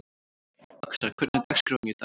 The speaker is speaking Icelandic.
Öxar, hvernig er dagskráin í dag?